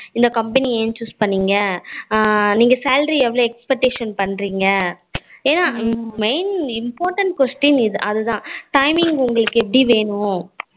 இந்த company என் choose பண்ணிங்க அஹ் நீங்க salary எவ்வளோ expect பண்ணுறிங்க என்னா main important question அதான் timing உங்களுக்கு எபயடி வேணும்